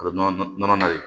A bɛ nɔnɔ nɔnɔ ye